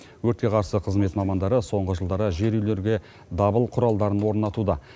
өртке қарсы қызмет мамандары соңғы жылдары жер үйлерге дабыл құралдарын орнатуда